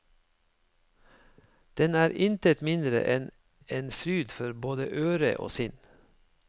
Den er intet mindre enn en fryd for både øre og sinn.